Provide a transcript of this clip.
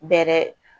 Bɛrɛ